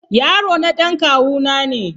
Yarona dan kawu na ne.